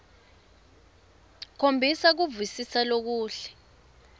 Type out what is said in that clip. khombisa kuvisisa lokuhle